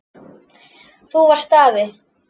Þú varst afi.